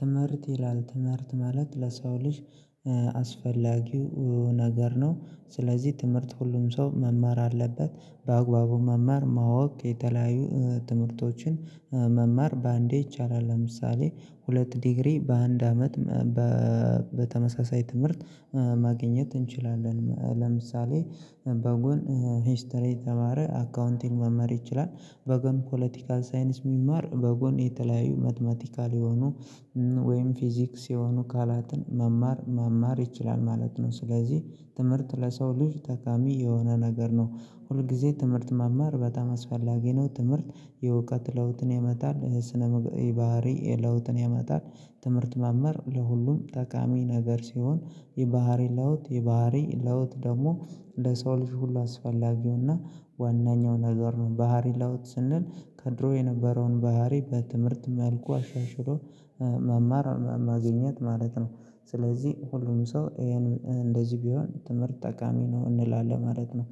ትምህርት ይላል ትምህርት ማለት ለሰው ልጅ አስፈላጊው ነገር ነው። ስለዚህ ትምህርት ሁሉም ሰው መማር አለበት። በአግባቡ መማር ማወቅ የተለያዩ ትምህርቶችን መማር በአንዴ ይቻላል ለምሳሌ ሁለት ዲግሪ በአንድ አመት። በተመሳሳይ ትምህርት ማግኘት እንችላለን ለምሳሌ በጎን ሂስትሪ የተማረ አካውንቲንግ መመር ይችላል። በጎን ፖለቲካል ሳይንስ የሚማር በጎን የተለያዩ መትማቲካል የሆኑ ወይም ፊዚክስ የሆኑ ካላትን መማር መማር ይችላል ማለት ነው። ስለዚህ ትምህርት ለሰው ልጅ ተቃሚ የሆነ ነገር ነው። ሁል ጊዜ ትምህርት መማር በጣም አስፈላጊ ነው። ትምህርት የእውቀት ለውጥን ያመጣል ስነ ምግበሪያባህሪ ለውጥን ያመጣል። ትምህርት መምህር ለሁሉም ጠቃሚ ነገር ሲሆን የባህሪ ለውጥ የባህሪ ለውጥ ደግሞ እንደ ሰው ልጅ ሁሉ አስፈላጊውና ዋናኛው ነገር ነው። ባህሪ ላውጥ ስንል ከድሮ የነበረውን ባህሪ በትምህርት መልኩ አሻሽሎ መማር ማግኘት ማለት ነው። ስለዚህ ሁሉም ሰው ይሄን እንደዚህ ቢሆን ትምህርት ጠቃሚ ነው እንላለን ማለት ነው።